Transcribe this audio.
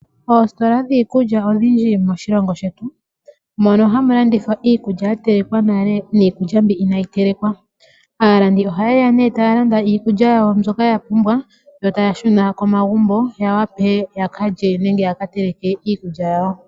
Oositola dhiikulya odhindji moshilongo shetu, mono hamu landitha iikulya mbyono ya telekwa nale niikulya mbyono inayi telekwa. Aalandi ohaye ya nduno yo taya landa iikulya yawo mbyoka ya pumbwa yo taya shuna komagumbo ya wape ya ka lye nenge ya ka teleke iikulya yawo.